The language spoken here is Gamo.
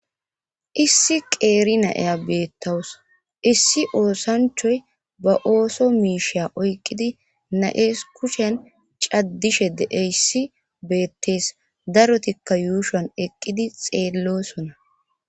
issi qeeri na7eya beettawus issi oosanchoy ba ooso miisha oyqqidi na7ees kucshen caddishe deeyssi beettees darotikka yuushan eqqidi xeellosuona